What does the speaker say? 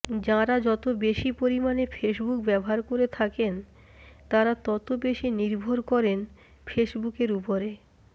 যাঁরা যতবেশি পরিমাণে ফেসবুক ব্যবহার করে থাকেন তাঁরা ততবেশি নির্ভর করেন ফেসবুকের ওপরে